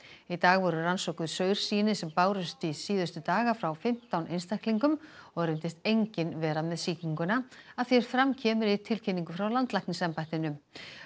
í dag voru rannsökuð saursýni sem bárust síðustu daga frá fimmtán einstaklingum og reyndist enginn vera með sýkinguna að því er fram kemur í tilkynningu frá landlæknisembættinu